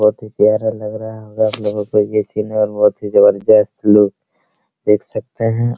बहुत ही प्यारा लग रहा है आपलोग को भी बहुत ही जबरदस्त लुक देख सकते हैं।